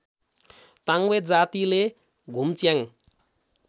ताङबे जातिले धुम्च्याङ